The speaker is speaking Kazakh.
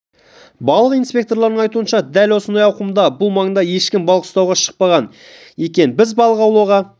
балық инспекторларының айтуынша дәл осындай ауқымда бұл маңда ешкім балық ұстауға шықпаған екен біз балық аулауға